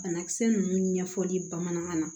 Banakisɛ ninnu ɲɛfɔli bamanankan na